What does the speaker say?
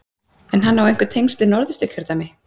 En á hann einhver tengsl við Norðausturkjördæmi?